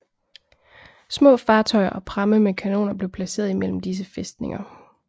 Små fartøjer og pramme med kanoner blev placeret imellem disse fæstninger